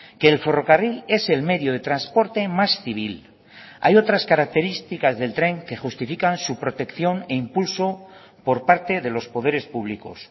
que el ferrocarril es el medio de transporte más civil hay otras características del tren que justifican su protección e impulso por parte de los poderes públicos